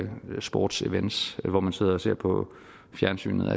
sportsevents så man sidder og ser på fjernsynet